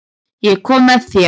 Ég kom með þér.